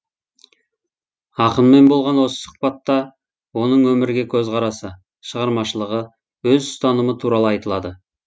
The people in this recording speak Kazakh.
ақынмен болған осы сұхбатта оның өмірге көзқарасы шығармашылығы өз ұстанымы туралы айтылады